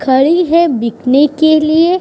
खड़ी है बिकने के लिए।